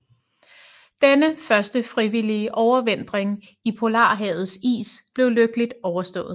Denne første frivillige overvintring i Polarhavets is blev lykkeligt overstået